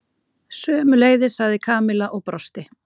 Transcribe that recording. Sömuleiðis sagði Kamilla og brosti.